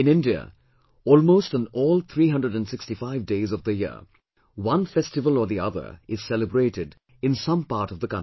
In India almost on all 365 days of the year, one festival or the other is celebrated in some part of the country